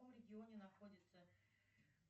в каком регионе находится